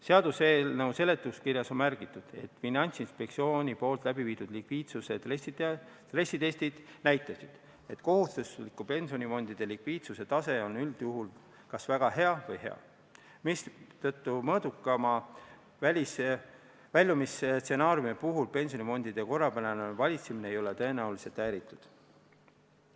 Seaduseelnõu seletuskirjas on märgitud, et Finantsinspektsiooni läbiviidud likviidsus- ja stressitestid näitasid, et kohustuslike pensionifondide likviidsuse tase on üldjuhul kas väga hea või hea, mistõttu mõõdukama väljumise puhul pensionifondide korrapärane valitsemine ei ole tõenäoliselt häiritud.